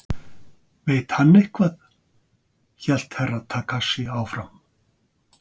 Veit hann eitthvað hélt Herra Takashi áfram.